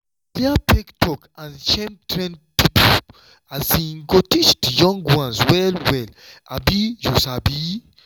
to clear fake talk and shame trained people um go teach di young ones well well um you sabi.